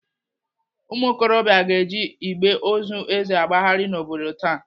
Ụmụokorobịa ga-eji igbe ozu Eze agbagharị n'obodo taa.